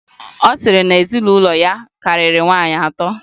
Ọ sịrị na ezinụlọ ya karịrị nwaanyị atọ.